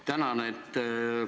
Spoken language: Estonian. Tänan!